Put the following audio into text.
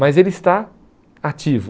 Mas ele está ativo.